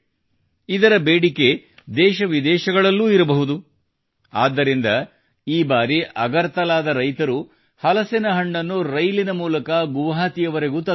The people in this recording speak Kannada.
ಇದರ ಬೇಡಿಕೆ ದೇಶ ವಿದೇಶಗಳಲ್ಲೂ ಇರಬಹುದು ಆದ್ದರಿಂದ ಈ ಬಾರಿ ಅಗರ್ತಲಾದ ರೈತರು ಹಲಸಿನ ಹಣ್ಣನ್ನು ರೈಲಿನ ಮೂಲಕ ಗುವಾಹಟಿವರೆಗೂ ತಂದರು